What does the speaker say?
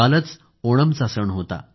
कालच ओणमचा सण होता